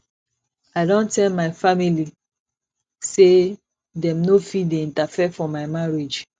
i don tell my family sey dem no fit dey interfere for my marriage